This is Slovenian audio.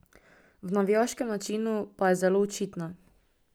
V navijaškem načinu pa je zelo očitna.